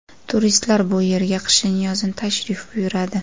Turistlar bu yerga qishin-yozin tashrif buyuradi.